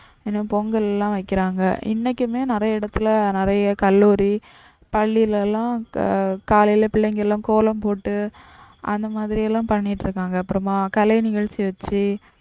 பொங்கல்லாம் வைக்கிறாங்க. இன்னைக்குமே நிறைய இடத்துல நிறைய கல்லுரி பள்ளில எல்லாம் காலையில பிள்ளைங்க எல்லாம் கோலம் போட்டு அந்த மாதிரிலாம் பண்ணிட்டு இருக்காங்க. அப்புறமா கலை நிகழ்ச்சி வச்சி